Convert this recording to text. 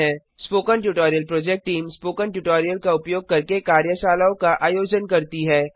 spoken tutorial project team spoken tutorial का उपयोग करके कार्यशालाओं का आयोजन करती है